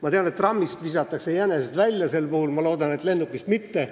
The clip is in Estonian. Ma tean, et trammist visatakse jänesed välja, ma loodan, et lennukist mitte.